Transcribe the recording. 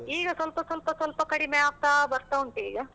ಈಗ ಸ್ವಲ್ಪ ಸ್ವಲ್ಪ ಸ್ವಲ್ಪ ಕಡಿಮೆ ಆಗ್ತಾ ಬರ್ತಾ ಉಂಟು ಈಗ.